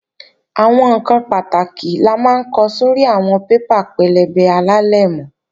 Àwọn ǹkan pàtàkì la máa ń ko sórí àwọn paper pẹlẹbẹ alálẹ̀mọ́